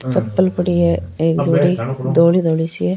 चप्पल पड़ी है एक जोड़ी धोड़ी धोड़ी सी है।